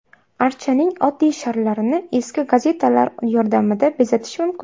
Archaning oddiy sharlarini eski gazetalar yordamida bezatish mumkin.